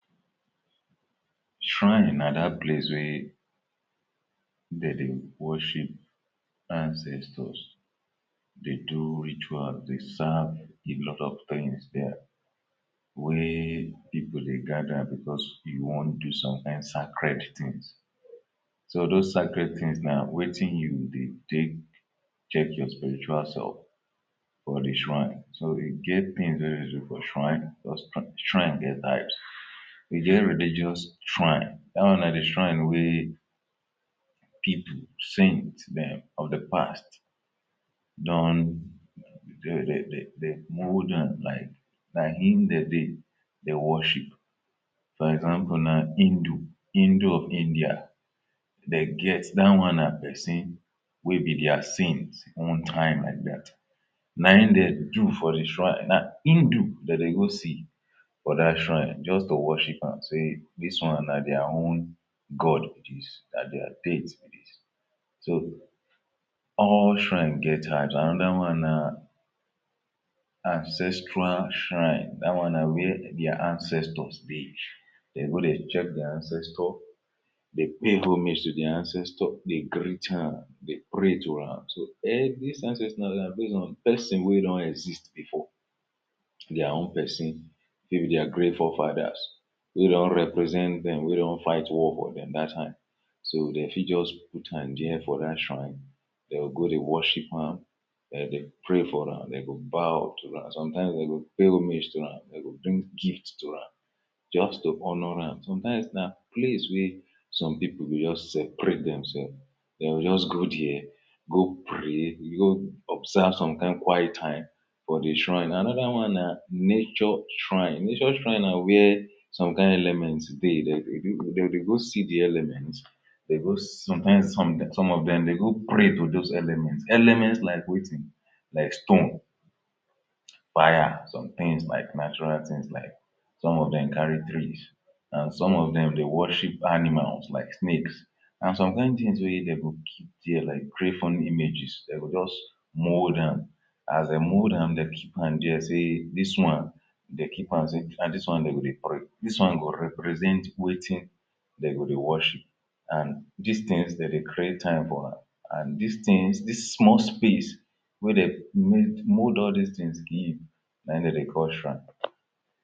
Shrine na dat place wey de dey worship ancestors, dey do rituals, dey serve a lot of things dia, wey pipul dey gather because e wan do some sacred things. So those sacred things na wetin you dey take check your spiritual self for dey shrine. So e get things wey dey do for shrine because shrine get types. E get religious shrine, dat one na dey shrine wey people, saints dem of dey past don dey dey mould am like, na im dem dey, dey worship, for example na Hindu, Hindu of India dey get, dat one na person wey be dia saint one time like dat na im dey do for dey shrine na Hindu de dey go see for dat shrine just to worship am sey dis one na dia own God be dis na dia deity be dis. So all shrine get types, another one na na ancestral shrine, dat one na where dia ancestors, dey go dey check dia ancestor dey pay homage to dia ancestor, dey greet am, dey pray to am so every ancestor na base on pesin wey don exist before. Dia own pesin, fit be dia great forefathers wey don represent dem, wey don fight war for dem dat time, so de fit just put am dia for dat shrine dey go go dey worship am, dem de pray for am, dem go bow to am, sometimes dem go pay homage to am, dem go bring gifts to am just to honour am. Sometimes na place wey some people go just seperate demself, dey go just go dia, go pray, go observe some kain quiet time for dey shrine. Another one na nature shrine, nature shrine na where some kain elements dey. De dey go see the elements, sometimes some of dem dey go pray to those elements. Elements like wetin, like stone some things like natural things like some of dem carry trees and some of dem dey worship animals like snakes and some kain things wey dey go keep dia like grey funny images. They go just mould am as dey mould am, dey keep am dia sey dis one dey kip am sey na dis own dey go dey pray, dis one go represent wetin dey go dey worship. and dis things de dey create am for am, and dis things, dis small space wey dey mould all these things keep na im de dey call shrine.